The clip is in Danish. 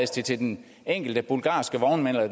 det til den enkelte bulgarske vognmand eller